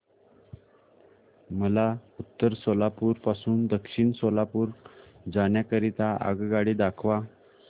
मला उत्तर सोलापूर पासून दक्षिण सोलापूर जाण्या करीता आगगाड्या दाखवा